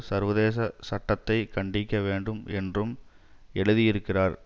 சர்வதேச சட்டத்தை கண்டிக்க வேண்டும் என்றும் எழுதியிருக்கிறார்